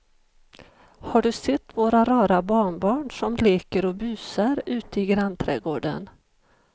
Har du sett våra rara barnbarn som leker och busar ute i grannträdgården!